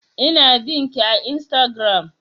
Ina bin ki a instagram